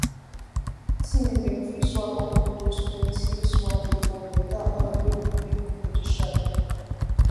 teen dem fit swap all dose plenty swallow for better oil wey go make body sharp